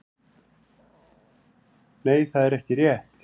Nei það er ekki rétt.